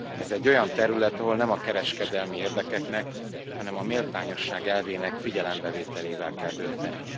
Ez egy olyan terület, ahol nem a kereskedelmi érdekeknek, hanem a méltányosság elvének figyelembevételével kell dönteni.